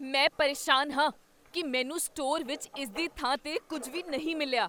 ਮੈਂ ਪਰੇਸ਼ਾਨ ਹਾਂ ਕੀ ਮੈਨੂੰ ਸਟੋਰ ਵਿੱਚ ਇਸਦੀ ਥਾਂ 'ਤੇ ਕੁੱਝ ਵੀ ਨਹੀਂ ਮਿਲਿਆ।